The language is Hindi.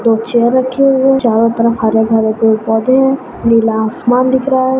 दो चेअर रखी हुई है चारों तरफ हरे-भरे पेडपौधे है नीला आसमान दिख रहा है।